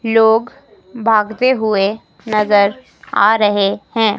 लोग भागते हुए नजर आ रहे है।